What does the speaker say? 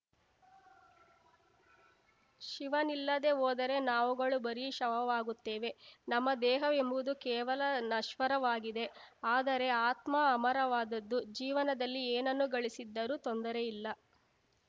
ಶಿವನಿಲ್ಲದೇ ಹೋದರೆ ನಾವುಗಳು ಬರೀ ಶವವಾಗುತ್ತೇವೆ ನಮ್ಮ ದೇಹವೆಂಬುದು ಕೇವಲ ನಶ್ವರವಾಗಿದೆ ಆದರೆ ಆತ್ಮ ಅಮರವಾದದ್ದು ಜೀವನದಲ್ಲಿ ಏನನ್ನೂ ಗಳಿಸಿದ್ದರೂ ತೊಂದರೆ ಇಲ್ಲ